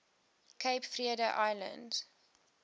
cape verde islands